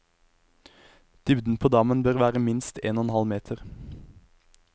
Dybden på dammen bør være minst en og en halv meter.